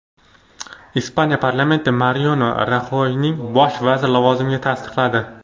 Ispaniya parlamenti Mariano Raxoyni bosh vazir lavozimiga tasdiqladi.